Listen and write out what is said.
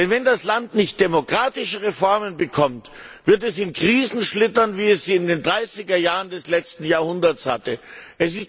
Denn wenn das Land keine demokratischen Reformen bekommt, wird es in Krisen schlittern, wie es sie in den 30er Jahren des letzten Jahrhunderts erlebt